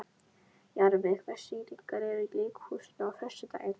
Jarfi, hvaða sýningar eru í leikhúsinu á föstudaginn?